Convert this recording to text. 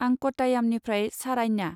आं कट्टायामनिफ्राय सारान्या।